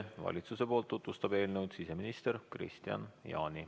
Valitsusest tutvustab eelnõu siseminister Kristian Jaani.